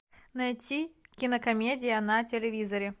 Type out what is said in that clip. найти кинокомедия на телевизоре